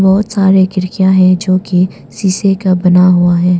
बहुत सारे खिड़कियां है जो कि शीशे का बना हुआ है।